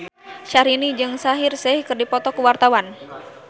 Syahrini jeung Shaheer Sheikh keur dipoto ku wartawan